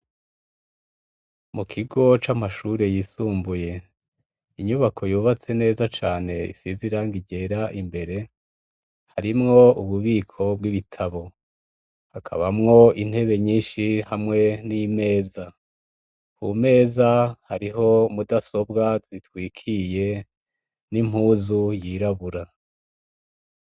Mu kigo c'amashure y' isumbuye, inyubako yubatse neza cane, isiz' irangi ryer' imbere, harimw'ububiko bw' ibitabo hakabamw' intebe nyinshi hamwe n' imeza; kumeza hariho mudasobw' itwikiriye n' impuzu yirabura.